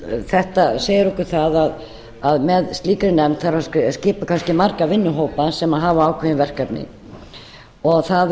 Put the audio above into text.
þetta segir okkur það að með slíkri nefnd þarf að skipa kannski marga vinnuhópa sem hafa ákveðin verkefni og það